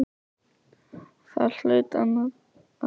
Þar hlaut annað að koma til.